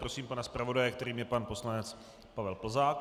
Prosím pana zpravodaje, kterým je pan poslanec Pavel Plzák.